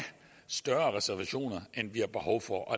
større reservationer end vi har behov for